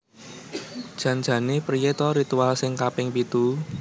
Jan jane priye to ritual sing kaping pitu?